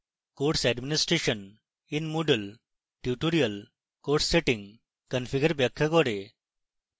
course administration in moodle tutorial course settings configure ব্যাখ্যা করে